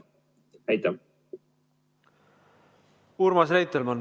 Urmas Reitelmann, palun!